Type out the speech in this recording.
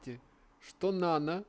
де что нана